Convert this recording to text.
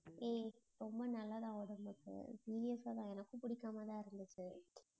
ஏய், ரொம்ப நல்லதான் உடம்புக்கு serious ஆதான் எனக்கும் பிடிக்காமதான் இருந்துச்சு